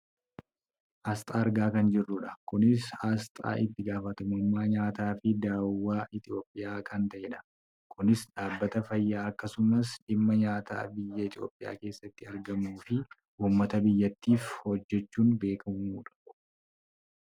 aasxaa argaa kan jirrudha . kunis aasxaa itti gaafatamummaa nyaataa fi daawwaa Itoopiyaa kan ta'edha. kunis dhaabbata fayyaa, akkasums dhimma nyaataa biyya Itoopiyaa keessatti argamuu fi uummata biyyattiif hojjachuun beekkamudha